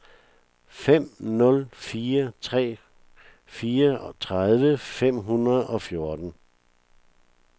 fem nul fire tre fireogtredive fem hundrede og fjorten